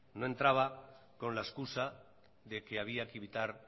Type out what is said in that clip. no entraba con la excusa de que había que evitar